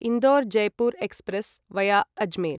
Indore Jaipur express via Ajmer